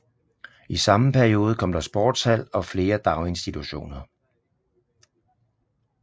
I samme periode kom der sportshal og flere daginstitutioner